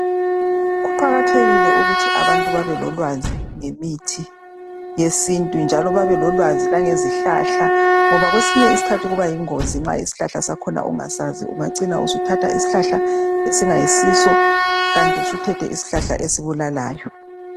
Kuqakathekile ukuthi abantu babelolwazi ngemithi yesintu njalo babelolwazi lwangezihlahla ngoba kwesinye isikhathi kuba yingozi nxa isihlahla sakhona ungasazi. Ungacina usuthatha isihlahla esingayisiso, kanti usuthethe isihlahla esibulalayo.